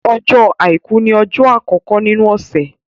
Ọjọ́ Àìkú ni ọjọ́ àkọkọ nínú ọ̀sẹ̀.